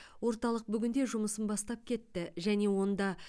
орталық бүгінде жұмысын бастап кетті және онда